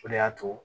O de y'a to